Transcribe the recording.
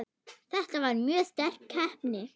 Þetta var mjög sterk keppni.